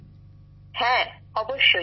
বিশাখাজীঃ হ্যাঁ অবশ্যই